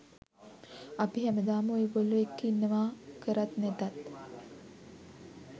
අපි හැමදාම ඔයගොල්ලෝ එක්ක ඉන්නවා කරත් නැතත්.